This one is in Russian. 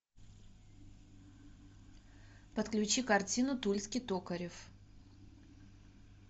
подключи картину тульский токарев